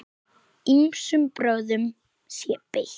Ýmsum brögðum sé beitt.